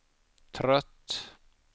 trött